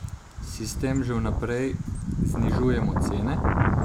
Si s tem že vnaprej znižujemo cene?